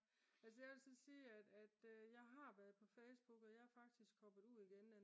altså jeg vil så sige at jeg har været på Facebook og jeg er faktisk hoppet ud igen